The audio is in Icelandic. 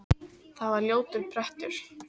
Það var ljótur prettur.